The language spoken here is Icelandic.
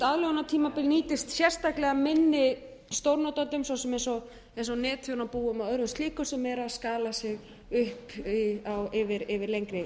aðlögunartímabil nýtist sérstaklega minni stórnotendum svo sem netþjónabúum og öðrum slíkum sem eru að skala sig upp yfir lengri